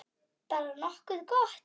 Bara nokkuð gott.